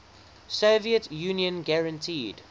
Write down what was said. soviet union guaranteed